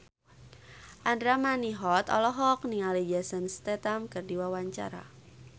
Andra Manihot olohok ningali Jason Statham keur diwawancara